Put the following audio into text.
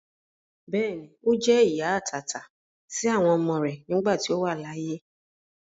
Bẹ́ẹ̀ni, Ó jẹ́ ìyá àtàtà sí àwọn ọmọ rẹ nígbà tí ó wà láyé.